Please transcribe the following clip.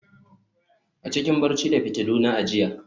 a, cikin barci da fitiluna a jiya